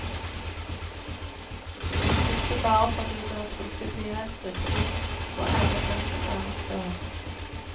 Ikke bare fordi det er prinsipielt riktig å ære den som æres bør.